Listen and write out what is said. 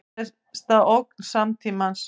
Stærsta ógn samtímans